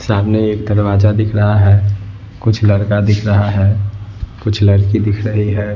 सामने एक दरवाजा दिख रहा है कुछ लड़का दिख रहा है कुछ लड़की दिख रही है ।